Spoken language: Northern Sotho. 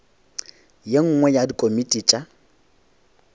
ye nngwe ya dikomiti tša